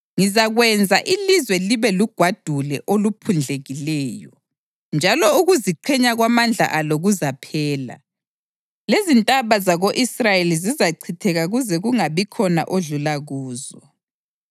Ngizakwenza ilizwe libe lugwadule oluphundlekileyo, njalo ukuziqhenya kwamandla alo kuzaphela, lezintaba zako-Israyeli zizachitheka kuze kungabikhona odlula kuzo.